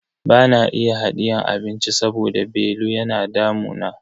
Bana iya hadiyan abinci saboda belu yana damuna.